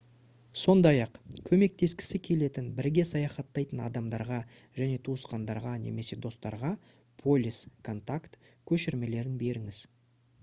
сондай-ақ көмектескісі келетін бірге саяхаттайтын адамдарға және туысқандарға немесе достарға полис/контакт көшірмелерін беріңіз